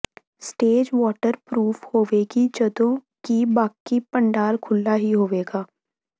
stage water proof ਹੋਵੇਗੀ ਜਦੋਂ ਕਿ ਬਾਕੀ ਪੰਡਾਲ ਖੁੱਲ੍ਹਾ ਹੀ ਹੋਵੇਗੀ